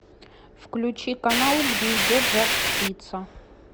включи канал где идет жар птица